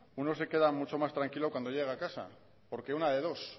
uno se queda mucho más tranquilo cuando llega a casa porque una de dos